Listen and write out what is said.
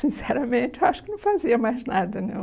Sinceramente, acho que não fazia mais nada, não.